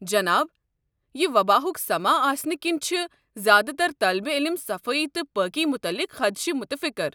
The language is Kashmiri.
جناب، یہِ وباہک سماں آسنہٕ کِنۍ چھِ زیٛادٕ تر طٲلب علم صفٲیی تہٕ پٲکی متعلق خدشہٕ مُتفِكر ۔